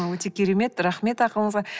өте керемет рахмет ақылыңызға